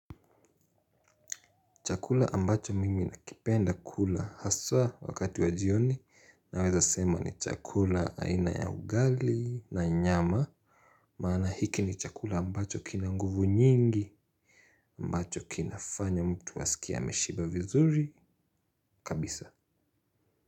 Chakula ambacho mimi nakipenda kula haswa wakati wa jioni naweza sema ni chakula aina ya ugali na nyama maana hiki ni chakula ambacho kina nguvu nyingi ambacho kinafanya mtu asikie ameshiba vizuri kabisa.